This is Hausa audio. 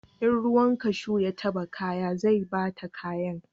In ruwan kashu ya taba kaya zai bata kayan